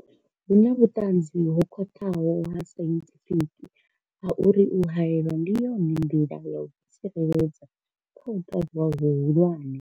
Hu na vhuṱanzi ho khwaṱhaho ha sainthifiki ha uri u haelwa ndi yone nḓila ya u ḓitsireledza kha u kavhiwa hu hulwane.